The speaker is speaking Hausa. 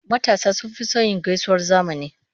Matasa sun fi son yin gaisuwar zamani.